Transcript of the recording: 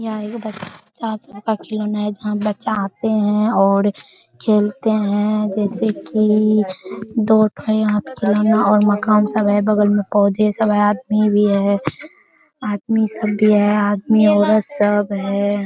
यहाँ एगो बच्चा सबका खिलौने है जहाँ बच्चा आते हैं और खेलते हैं जैसे की दो ठो यहाँ पर खिलौना और मकान सब है। बगल में पौधे सब हैं आदमी भी है आदमी सब भी है आदमी-औरत सब है।